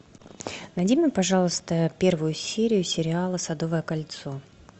найди мне пожалуйста первую серию сериала садовое кольцо